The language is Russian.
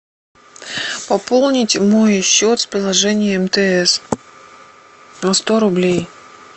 пополнить мой счет с приложения мтс на сто рублей